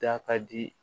Da ka di